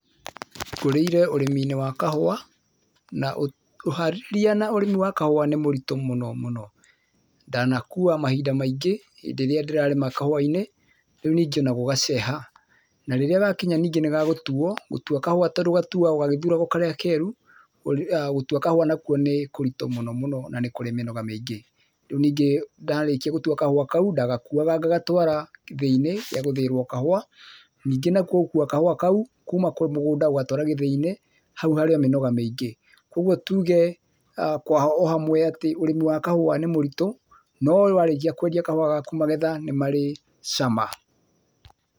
Ngũrĩire ũrĩmi-inĩ wa kahũa, na ũharĩria na ũrimi wa kahũa nĩ mũritũ mũno mũno. Ndanakuua mahinda maingĩ, hĩndĩ ĩrĩa ndĩrarĩma kahũa-inĩ, rĩu ningĩ o na gũgaceha. Na rĩrĩa gakinya nyingĩ nĩ gagũtuo, gũtua kahũa tondũ gatuagwo gagĩthuragwo karĩa keru, gũtua kahũa nakuo nĩ kũritũ mũno mũno na nĩ kũrĩ mĩnoga mĩingĩ. Rĩu ningĩ ndarĩkia gũtua kahũa kau, ndagakuaga ngagatwara gĩthĩ-inĩ gĩa gũthĩĩrwo kahũa, ningĩ nakuo gũkua kahũa kau kuma mũgũnda gũgatwara gĩthĩ-inĩ, hau harĩ o mĩnoga mĩingĩ. kũguo tuge kwa o hamwe atĩ ũrĩmi wa kahũa nĩ mũritũ, no warĩkia kwendia kahũa gaku magetha nĩ marĩ cama.